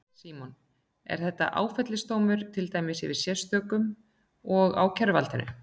Símon: Er þetta áfellisdómur, til dæmis yfir sérstökum og ákæruvaldinu?